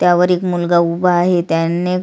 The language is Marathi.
त्यावर एक मुलगा उभा आहे त्यांनी--